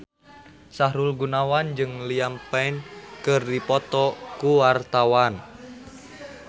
Sahrul Gunawan jeung Liam Payne keur dipoto ku wartawan